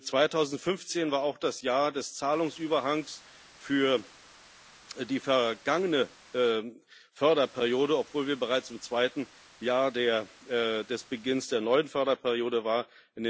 2015 war auch das Jahr des Zahlungsüberhangs für die vergangene Förderperiode, obwohl wir bereits im zweiten Jahr des Beginns der neuen Förderperiode waren.